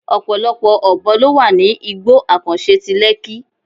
Ọ̀pọ̀lọpọ̀ Ọ̀bọ ló wà ní igbó àkànṣe ti Lekki.